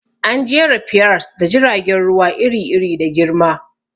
An jera piers da jiragen ruwa iri-iri da girma.